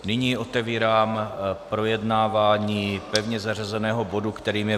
Nyní otevírám projednávání pevně zařazeného bodu, kterým je